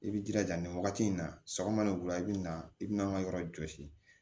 I bi jilaja nin wagati in na sɔgɔma ni wula i be na i bina an ga yɔrɔ jɔsi